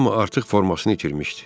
Amma artıq formasını itirmişdi.